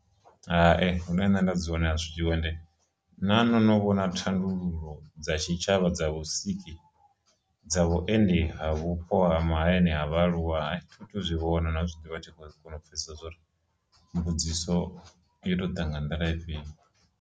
Hai, hune nṋe nda dzone a zwiho ende nahone ho novha na thandululo dza tshitshavha dza vhusiki, dza vhuendi ha vhupo ha mahayani a vhaaluwa a thithu zwi vhona na u zwi ḓivha thi khou kona u pfhesesa zwauri mbudziso yo to ḓa nga nḓila ifhio.